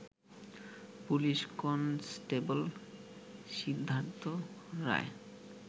police constable Siddhartha Roy